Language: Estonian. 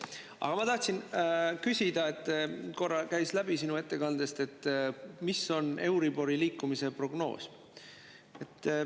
Aga ma tahtsin küsida selle kohta, et korra käis sinu ettekandest läbi see, mis on euribori liikumise prognoos.